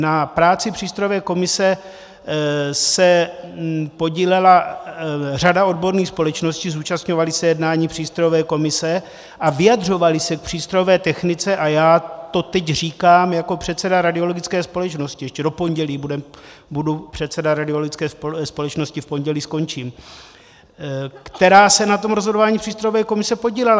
Na práci přístrojové komise se podílela řada odborných společností, zúčastňovaly se jednání přístrojové komise a vyjadřovaly se k přístrojové technice, a já to teď říkám jako předseda radiologické společnosti - ještě do pondělí budu předseda radiologické společnosti, v pondělí skončím, - která se na tom rozhodování přístrojové komise podílela.